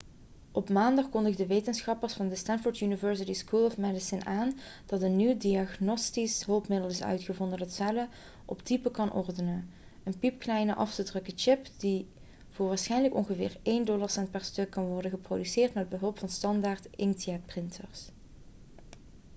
op maandag kondigden wetenschappers van de stanford university school of medicine aan dat een nieuw diagnostisch hulpmiddel is uitgevonden dat cellen op type kan ordenen een piepkleine af te drukken chip die voor waarschijnlijk ongeveer één dollarcent per stuk kan worden geproduceerd met behulp van standaard inkjetprinters